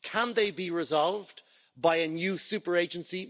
Can they be resolved by a new super agency?